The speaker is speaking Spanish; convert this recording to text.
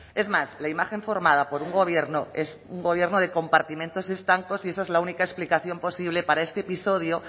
es más la imagen formada por un gobierno es un gobierno de compartimentos estancos y esa es la única explicación posible para este episodio